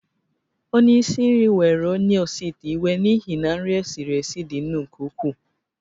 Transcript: Onye isi nri were onye osi ite iwe n’ihi na nri e siri esi dị nnu nke ukwuu